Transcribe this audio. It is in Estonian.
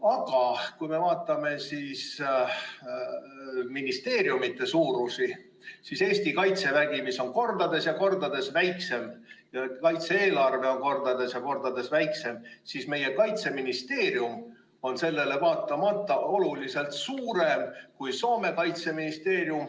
Aga kui me vaatame ministeeriumide suurusi, siis Eesti kaitsevägi on kordades ja kordades väiksem, kaitse-eelarve on kordades ja kordades väiksem, aga meie Kaitseministeerium on sellele vaatamata oluliselt suurem kui Soome kaitseministeerium.